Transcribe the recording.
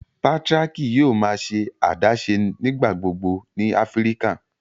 Patriarchy yòò má ṣe adaṣe nigbagbogbo ní Áfíríkà.